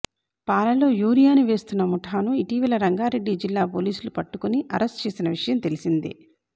పాలలో యూరియాను వేస్తున్న ముఠాను ఇటీవల రంగారెడ్డి జిల్లా పోలీసులు పట్టుకొని అరెస్టు చేసిన వి ష యం తెలిసిందే